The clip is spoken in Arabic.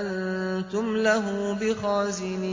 أَنتُمْ لَهُ بِخَازِنِينَ